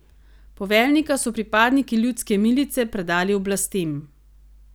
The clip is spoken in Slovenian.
Poveljnika so pripadniki ljudske milice predali oblastem.